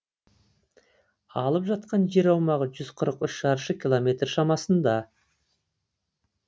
алып жатқан жер аумағы жүз қырық үш шаршы километр шамасында